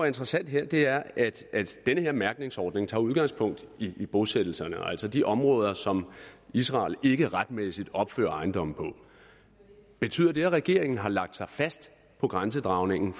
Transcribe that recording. interessant her er at den her mærkningsordning tager udgangspunkt i bosættelserne altså de områder som israel ikke retmæssigt opfører ejendomme på betyder det at regeringen har lagt sig fast på grænsedragningen